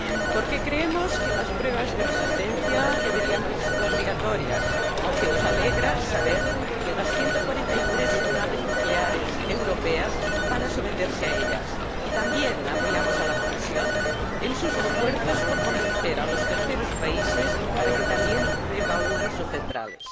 Porque creemos que las pruebas de resistencia deberían haber sido obligatorias, aunque nos alegra saber que las 143 centrales nucleares europeas van a someterse a ellas, y también apoyamos a la Comisión en sus esfuerzos por convencer a los terceros países para que también reevalúen sus centrales.